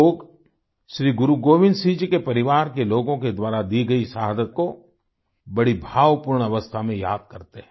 लोग श्री गुरु गोविंद सिंह जी के परिवार के लोगों के द्वारा दी गयी शहादत को बड़ी भावपूर्ण अवस्था में याद करते हैं